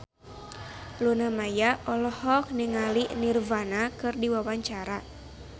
Luna Maya olohok ningali Nirvana keur diwawancara